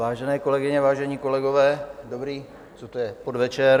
Vážené kolegyně, vážení kolegové, dobrý - co to je? - podvečer.